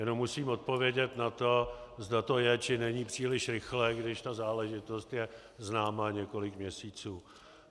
Jenom musím odpovědět na to, zda to je, či není příliš rychlé, když ta záležitost je známá několik měsíců.